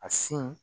A sin